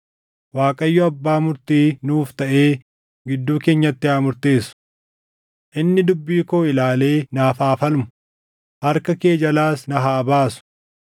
Waaqayyo abbaa murtii nuuf taʼee gidduu keenyatti haa murteessu. Inni dubbii koo ilaalee naaf haa falmu; harka kee jalaas na haa baasu.”